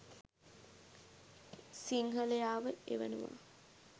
සින්හලයාව එවනවා